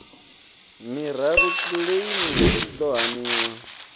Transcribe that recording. miraru kiḽeimi i ḓo haniwa